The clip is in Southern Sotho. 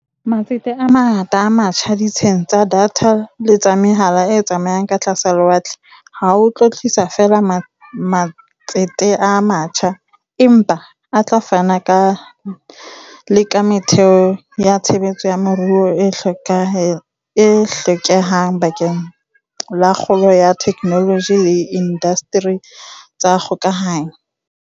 Matsete a mangata a matjha ditsheng tsa datha le tsa mehala e tsamayang ka tlasa lewatle ha a tlo tlisa feela matsete a matjha, empa a tla fana le ka metheo ya tshebetso ya moruo e hlokehang bakeng la kgolo ya theknoloji le diindasteri tsa dikgokahano.